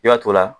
I b'a to la